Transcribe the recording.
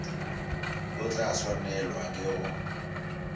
o tla swanelwa ke go